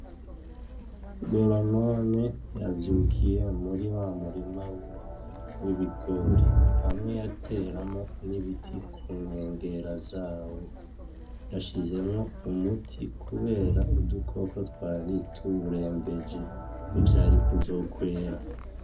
Goronome yavyukiye muri wa murima wiwe w'ibigori, hamwe yateramwo n'ibiti ku nkengera zawo. Yashizemwo umuti kubera udukoko twari tuwurembeje. Ntivyari kuzokwera.